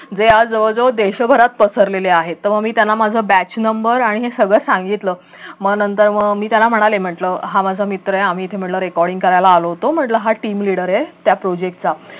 ते आज जवळ जवळ देशभरात पसरलेले आहेत तर मी त्यांना माझं batch नंबर आणि हे सगळं सांगितलं मग नंतर मग मी त्यांना म्हणाले म्हटलं हा माझा मित्र आहे इथे आम्ही म्हटलं recording करायला आलो होतो म्हटलं हा team leader आहे त्या project चा